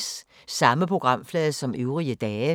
Samme programflade som øvrige dage